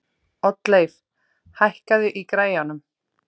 Oddleif, hækkaðu í græjunum.